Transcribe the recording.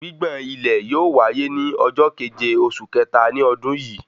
Gbigbọn ilẹ̀ yóò wáyé ní ọjọ keje oṣù kẹta ní ọdún yìí